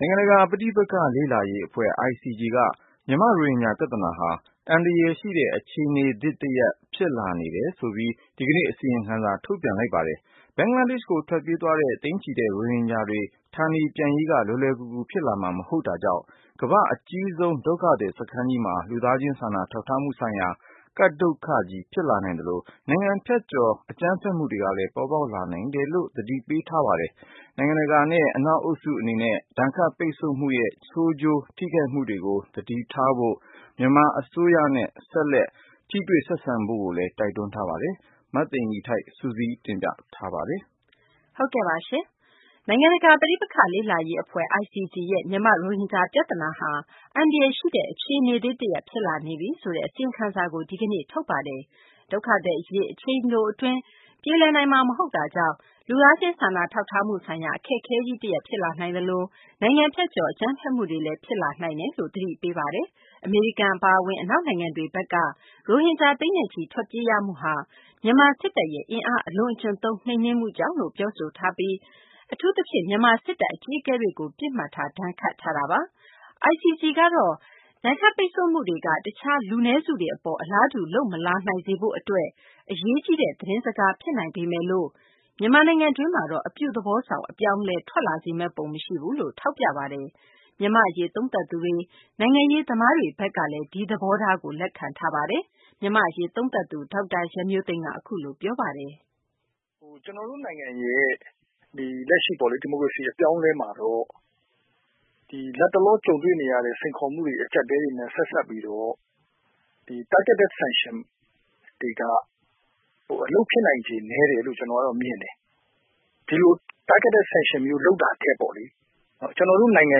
ိုင်ငံတကာ ပဋိပက္ခ လေ့လာရေး အဖွဲ့ ICG က မြန်မာ့ ရိုဟင်ဂျာ ပြသနာဟာ အန္တရာယ်ရှိတဲ့ အခြေအနေသစ် တရပ် ဖြစ်လာနေပြီဆိုပြီး ဒီကနေ့ အစီရင်ခံစာ ထုတ်ပြန်ပါတယ်။ ဘင်္ဂလားဒေရှ့်ကို ထွက်ပြေးရတဲ့ သိန်းနဲ့ချီတဲ့ ရိုဟင်ဂျာတွေ ဌာနေပြန်ရေးက လွယ်လွယ်ကူကူ ဖြစ်လာမှာ မဟုတ်တာကြောင့် ကမ္ဘာ့အကြီးဆုံး ဒုက္ခသည် စခန်းကြီးမှာ လူသားချင်း စာနာထောက်ထားမှုဆိုင်ရာ ကပ်ဒုက္ခကြီး ဖြစ်လာနိုင်သလို နိုင်ငံဖြတ်ကျော် အကြမ်းဖက်မှုတွေလည်း ပေါ်ပေါက်လာနိုင်တယ်လို့ သတိပေးထားပါတယ်။ နိုင်ငံတကာ အသိုင်းအဝိုင်း အထူးသဖြင့် အနောက်အုပ်စု အနေနဲ့ ဒဏ်ခတ်ပိတ်ဆို့မှုတွေရဲ့ ဆိုးကျိုး ထိခိုက်မှုတွေကို သတိထားဖို့၊ မြန်မာ အစိုးရနဲ့ ဆက်လက် ထိတွေ့ ဆက်ဆံဖို့လည်း တိုက်တွန်းထားပါတယ်။ မသိင်္ဂ ီထိုက် စုစည်းတင်ပြမှာပါ။ နိုင်ငံတကာ ပဋိပက္ခ လေ့လာရေး အဖွဲ့ ICG ရဲ့ မြန်မာ့ ရိုဟင်ဂျာ ပြသနာဟာ အန္တရာယ်ရှိတဲ့ အခြေအနေသစ်တရပ် ဖြစ်လာနေပြီဆိုတဲ့ အစီရင်ခံစာကို ဒီကနေ့ ထုတ်ပြန်တာပါ။ ဒုက္ခသည် အရေး အချိန်တို အတွင်း ပြေလည်နိုင်မှာ မဟုတ်တာကြောင့် လူသားချင်း စာနာထောက်ထားမှုဆိုင်ရာ အခက်အခဲကြီး တရပ် ဖြစ်လာနိုင်သလို နိုင်ငံဖြတ်ကျော် အကြမ်းဖက်မှုတွေလည်း ဖြစ်လာနိုင်တယ်လို့ သတိပေးထားတာပါ။ အမေရိကန် အပါအဝင် အနောက်နိုင်ငံတွေဘက်က ရိုဟင်ဂျာ သိန်းနဲ့ချီ ထွက်ပြေးရမှုဟာ မြန်မာ စစ်တပ်ရဲ့ အင်အား အလွန်အကျွံသုံး နှိမ်နင်းမှုကြောင့်လို့ ပြောဆိုထားပြီး အထူးသဖြင့် မြန်မာ စစ်တပ် အကြီးအကဲတွေကို ပစ်မှတ်ထား ဒဏ်ခတ်ထားတာပါ။ ICG ကတော့ ဒဏ်ခတ်ပိတ်ဆို့မှုတွေက တခြား လူနည်းစုတွေ အပေါ် အလားတူ လုပ်မလာနိုင်စေရေး အတွက် အရေးကြီးတဲ့ သတင်းစကား ဖြစ်နိုင်ပေမယ်လို့ မြန်မာနိုင်ငံတွင်းမှာတော့ အပြုသဘောဆောင် အပြောင်းအလဲ ထွက်လာစေမယ့် ပုံ မရှိဘူးလို့ ထောက်ပြထားပါတယ်။ မြန်မာ့အရေး သုံးသပ်သူတွေ နိုင်ငံရေး သမားတွေ ဘက်ကလည်း ဒီသဘောထားကို လက်ခံထားပါတယ်။ မြန်မာ့အရေး သုံးသပ်သူ ဒေါက်တာ ရန်မျိုးသိန်းက ပြောပါတယ်။ " ကျနော်တို့နိုင်ငံရဲ့ လက်ရှိ ဒီမိုကရေစီအပြောင်းအလဲမှာတော့ လတ်တလောကြုံနေရတဲ့ စိန်ခေါ်မှုတွေအကျပ်အတည်းတွေ နဲ့ ဆက်စပ်ပြီးတော့ Targeted Sanctions တွေက အလုပ်ဖြစ်နိုင်ခြေ နည်းတယ်လို့ ကျနော်ကတော့မြင်တယ်။ ဒီလိုTargeted Sanctions မျိုး လုပ်တာထက်ပေါ့ ကျနော်တို့နိုင်ငံ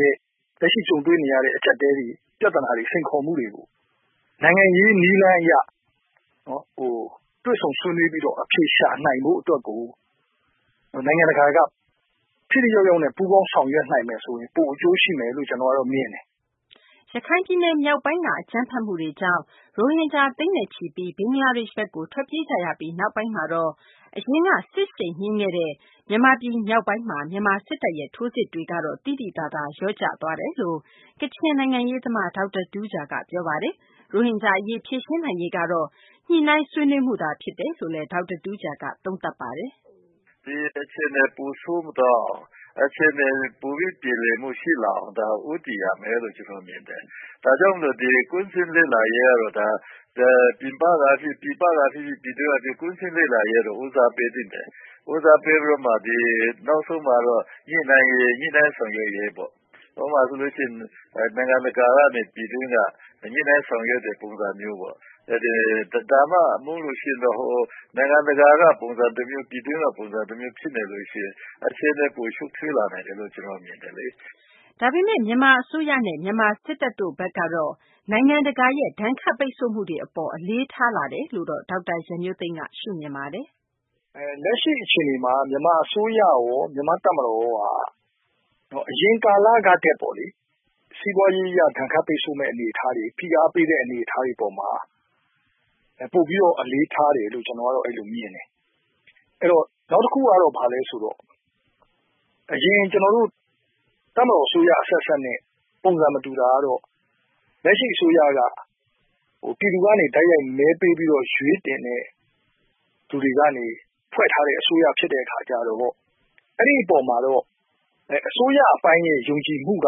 ရဲ့ လက်ရှိကြုံတွေ့နေရတဲ့ အကျပ်အတည်းတွေ ပြသနာတွေ စိန်ခေါ်မှုတွေကို နိုင်ငံရေးနည်းလမ်းအရ တွေ့ဆုံဆွေးနွေးပြီးတော့ အဖြေရှာနိုင်ဖို့အတွက်ကို နိုင်ငံတကာ ထိထိရောက်ရောက်နဲ့ ပူးပေါင်းဆောင်ရွက်နိုင်မယ်ဆိုရင် ပိုအကျိုးရှိမယ်လို့ ကျနော်ကတော့ မြင်တယ်။" ရခိုင်ပြည်နယ်မြောက်ပိုင်းက အကြမ်းဖက်မှုတွေကြောင့် ရိုဟင်ဂျာ သိန်းနဲ့ချီပြီး ဘင်္ဂလားဒေရှ့်ဘက်ကို ထွက်ပြေးကြရပြီး နောက်ပိုင်းမှာတော့ အရင်က စစ်ရှိန်မြင့်ခဲ့တဲ့ မြန်မာပြည် မြောက်ပိုင်းမှာ မြန်မာ စစ်တပ်ရဲ့ ထိုးစစ်တွေ သိသိသာသာ လျော့ကျသွားတယ် လို့ ကချင်နိုင်ငံရေးသမား ဒေါက်တာ တူးဂျာက ပြောပါတယ်။ ရိုဟင်ဂျာ အရေး ဖြေရှင်းနိုင်ရေးကတော့ ညှိနှိုင်းဆွေးနွေးမှုသာ ဖြစ်တယ်လို့လည်း ဒေါက်တာ တူးဂျာက သုံးသပ်တာပါ။ " ဒီအခြေအနေ ပိုဆိုးမသွားအောင် အခြေအနေတွေ ပိုပြီး ပြေလည်မှုရှိလာအောင် ဦးတည်ရမယ်လို့ ကျနော်မြင်တယ်။ ဒါကြောင့်မို့လို့ ကွင်းဆင်းလေ့လာရေးကတော့ ပြည်ပကဖြစ်ဖြစ် ပြည်တွင်းကဖြစ်ဖြစ် ကွင်းဆင်းလေ့လာရေးက ဦးစားပေးသင့်တယ်။ ဦးစားပေးပြီးတော့ နောက်ဆုံးမှာတော့ ညှိနှိုင်းရေး ဆောင်ရွက်ရေးပေါ့ ဥပမာဆိုရင် နိုင်ငံတကာနဲ့ပြည်တွင်း ညှိနှိုင်းဆောင်ရွက်တဲ့ပုံစံမျိုးပေါ့။ ဒါမှမဟုတ်ရင်တော့ နိုင်ငံတကာကပုံစံတမျိုး ပြည်တွင်းက ပုံစံတမျိုး ဖြစ်နေလို့ရှိရင် အခြေအနေ ပိုရှုပ်ထွေးလာနိုင်တယ်လို့ ကျနော်မြင်တယ်လေ။" ဒါပေမယ့် မြန်မာ အစိုးရနဲ့ မြန်မာ စစ်တပ် တို့ အနေနဲ့ နိုင်ငံတကာရဲ့ ဒဏ်ခတ် ပိတ်ဆို့မှုတွေ အပေါ် အလေးထားတယ်လို့တော့ ဒေါက်တာ ရန်မျိုးသိန်းက ရှုမြင်ပါတယ်။ " လက်ရှိအခြေအနေမှာ မြန်မာအစိုးရရော မြန်မာ့တပ်မတော်ကရောပေါ့လေ အရင်ကာလကထက်ပေါ့ စီးပွားရေး ဒဏ်ခတ်ပိတ်ဆို့မယ့်အနေအထားတွေ ဖိအားပေးတဲ့ အနေအထားတွေအပေါ်မှာ ပိုပြီးတော့ အလေးထားတယ်လို့ ကျနော်ကတော့ အဲ့လိုမြင်တယ်။ အဲ့တော့ နောက်တခုကတော့ ဘာလဲဆိုတော့ အရင်ကျနော်တို့ တပ်မတော် အစိုးရအဆက်ဆက်နဲ့ ပုံစံမတူတာကတော့ လက်ရှိအစိုးရက ပြည်သူကနေ တိုက်ရိုက်မဲပေးပြီးတော့ ရွေးတင်တဲ့သူတွေကနေ ဖွဲ့ထားတဲ့အစိုးရဖြစ်တဲ့အခါကျတော့ အဲ့ဒီ့အပေါ်မှာတော့ အစိုးရအပိုင်းရဲ့ ယုံကြည်မှုက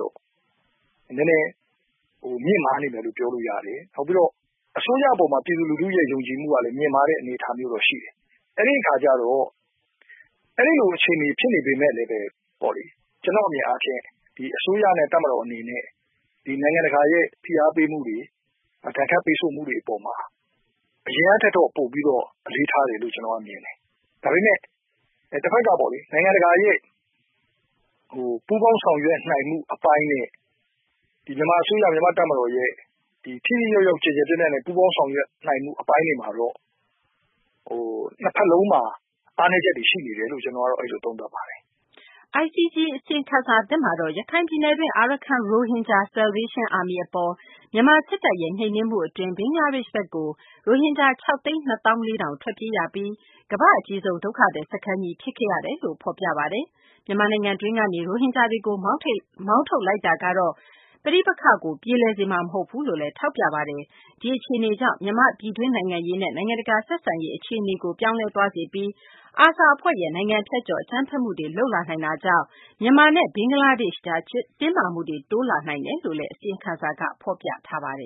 တော့ နည်းနည်းမြင့်မားနေတယ်လို့ ပြောလို့ရတယ်။ နောက်ပြီးတော့ အစိုးရအပေါ်မှာ ပြည်သူလူထုရဲ့ယုံကြည်မှုကလည်း မြင့်မားတဲ့အနေအထားမျိုးတော့ရှိတယ်။ အဲ့ဒီ့အခါကျတော့ အဲ့လိုအခြေအနေဖြစ်နေပေမဲ့ လည်း ကျနော့်အမြင်အားဖြင့် အစိုးရနဲ့ တပ်မတော်အနေနဲ့ နိုင်ငံတကာရဲ့ ဖိအားပေးမှုတွေ ဒဏ်ခတ်ပိတ်ဆို့မှုတွေ အပေါ်မှာ အရင်ကထက်တော့ ပိုပြီးတော့ အလေးထားတယ်လို့ ကျနော်ကတော့မြင်တယ်။ ဒါပေမဲ့ တဘက်က နိုင်ငံတကာရဲ့ ပူးပေါင်းဆောင်ရွက်နိုင်မှု အပိုင်းနဲ့ မြန်မာအစိုးရ မြန်မာ့တပ်မတော်ရဲ့ ထိထိရောက်ရောက် ကျယ်ကျယ်ပြန့်ပြန့် ပူးပေါင်းဆောင်ရွက်နိုင်မှု အပိုင်းတွေမှာ နှစ်ဘက်စလုံးမှာ အားနည်းချက်တွေရှိတယ်လို့ ကျနော်ကတော့ အဲ့လိုသုံးသပ်ပါတယ်။ " ICG အစီရင်ခံစာသစ်မှာတော့ ရခိုင်ပြည်နယ်တွင်း Arkhan Rohingya Salvation Army အပေါ် မြန်မာ စစ်တပ်ရဲ့ နှိမ်နင်းမှု အတွင်း ဘင်္ဂလားဒေရှ့်ဘက်ကို ရိုဟင်ဂျာ ၆ သိန်း ၂ သောင်း ၄ ထောင် ထွက်ပြေးရပြီး ကမ္ဘာ့ အကြီးဆုံး ဒုက္ခသည် စခန်းကြီး ဖြစ်ခဲ့ရတယ်လို့လည်း ဖော်ပြထားပါတယ်။ မြန်မာနိုင်ငံတွင်းကနေ ရိုဟင်ဂျာတွေကို မောင်းထုတ်လိုက်တာကတော့ ပဋိပက္ခကို ပြေလည်စေမှာ မဟုတ်ဘူးလို့လည်း ထောက်ပြထားပါတယ်။ ဒီအခြေအနေကြောင့် မြန်မာ့ ပြည်တွင်း နိုင်ငံရေးနဲ့ နိုင်ငံတကာ ဆက်ဆံရေး အခြေအနေကို ပြောင်းလဲသွားစေပြီး ARSA အဖွဲ့က နိုင်ငံဖြတ်ကျော် အကြမ်းဖက်မှုတွေ လုပ်လာနိုင်တာကြောင့် မြန်မာနဲ့ ဘင်္ဂလားဒေရှ့်ကြား တင်းမာမှုတွေ တိုးလာနိုင်တယ်လို့လည်း အစီရင်ခံစာက ဖော်ပြပါတယ်